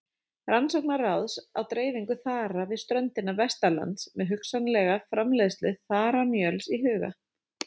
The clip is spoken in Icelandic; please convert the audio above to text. Rannsóknaráðs á dreifingu þara við ströndina vestanlands með hugsanlega framleiðslu þaramjöls í huga.